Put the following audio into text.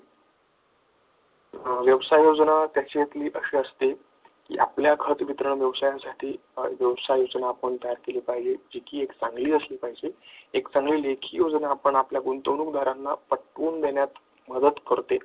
व्यवसाय योजना त्याच्यातली अशी असते, की आपल्या खतबित व्यवसायासाठी अशी व्यवसाय योजना आपण तयार केली पाहिजे किती चांगली असली पाहिजे एक चांगली लेखी योजना आपण आपल्या गुंतवणूकदारांना पटवून देण्यात मदत करते.